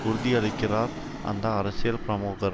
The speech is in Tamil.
உறுதியளித்திருக்கிறார் அந்த அரசியல் பிரமுகர்